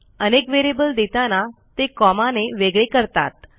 अनेक व्हेरिएबल देताना ते कॉमा ने वेगळे करतात